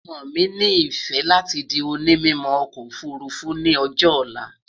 ọmọ mí ní ifẹ láti di òní mímọ okò òfurufú ní ọjọ olá